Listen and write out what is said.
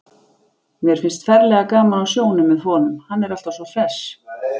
Mér finnst ferlega gaman á sjónum með honum, hann er alltaf svo hress.